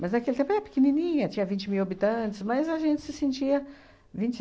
Mas, naquele tempo, era pequenininha, tinha vinte mil habitantes, mas a gente se sentia... vinte